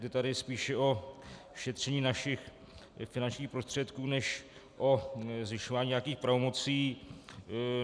Jde tady spíše o šetření našich finančních prostředků než o zvyšování nějakých pravomocí.